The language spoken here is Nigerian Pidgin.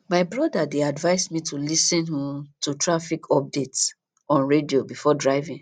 my brother dey advise me to lis ten um to traffic updates on radio before driving